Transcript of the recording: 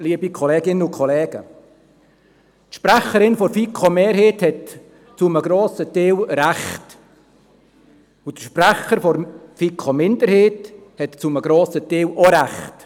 Die Sprecherin der FiKo-Mehrheit hat zu einem grossen Teil recht, und der Sprecher der FiKo-Minderheit hat zu einem grossen Teil auch recht.